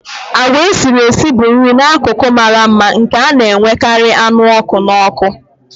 Agwa esiri esi bụ nri n'akụkụ mara mma nke a na-enwekarị anụ ọkụ n'ọkụ.